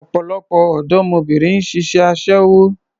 Ọ̀pọ̀lọpọ̀ ọ̀dọ́mọbìnrin ni ń ṣiṣẹ́ aṣẹ́wó